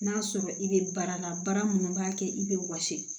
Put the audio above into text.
N'a sɔrɔ i bɛ baara la baara minnu b'a kɛ i bɛ wɔsi